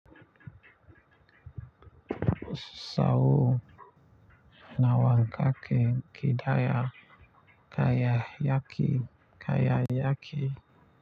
Sau nawankake kidaya kayayaki kayayaki.